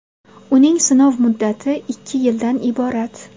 Uning sinov muddati ikki yildan iborat.